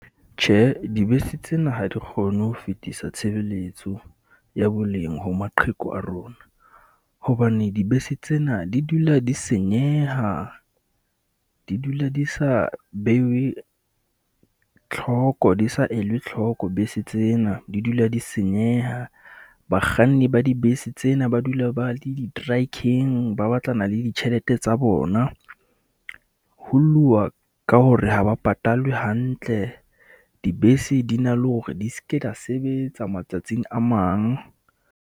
Tjhe, dibese tsena ha di kgone ho fetisa tshebeletso ya boleng ho maqheku a rona, hobane dibese tsena di dula di senyeha. Di dula di sa beuwe, tlhoko di sa elwe tlhoko bese tsena, di dula di senyeha. Bakganni ba dibese tsena ba dula ba le di , ba batlana le ditjhelete tsa bona. Ho lluwa ka hore ha ba patalwe hantle, dibese di na le hore di ske da sebetsa matsatsing a mang.